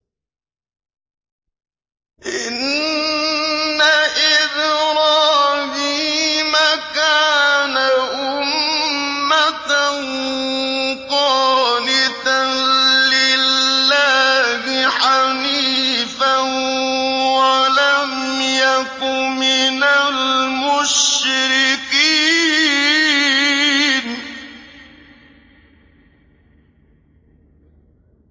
إِنَّ إِبْرَاهِيمَ كَانَ أُمَّةً قَانِتًا لِّلَّهِ حَنِيفًا وَلَمْ يَكُ مِنَ الْمُشْرِكِينَ